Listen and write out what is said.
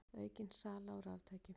Aukin sala á raftækjum